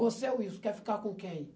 Você é o Wilson, quer ficar com quem?